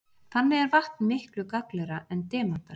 Þannig er vatn miklu gagnlegra en demantar.